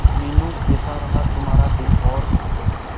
मीनू कैसा रहा तुम्हारा दिन और